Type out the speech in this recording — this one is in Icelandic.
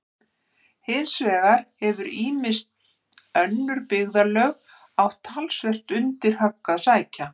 Hins vegar hafa ýmis önnur byggðarlög átt talsvert undir högg að sækja.